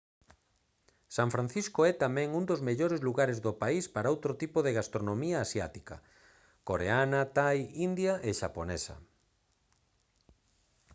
san francisco é tamén un dos mellores lugares do país para outro tipo de gastronomía asiática coareana thai india e xaponesa